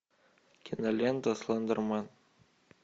кинолента слендермен